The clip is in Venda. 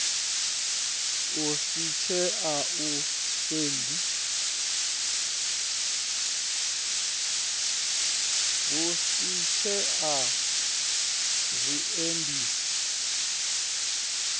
hu si tshee na zwiendisi